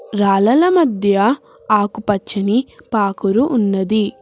రాలల మధ్య ఆకుపచ్చని పాకురు ఉన్నది.